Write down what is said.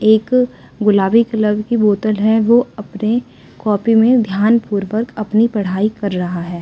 एक गुलाबी कलर की बोतल है वो अपने कॉपी में ध्यान पूर्वक अपनी पढ़ाई कर रहा है।